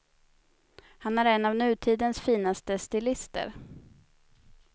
Han är en av nutidens finaste stilister.